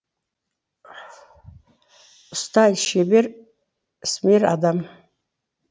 ұста шебер ісмер адам